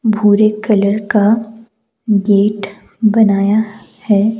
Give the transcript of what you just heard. भूरे कलर का गेट बनाया है।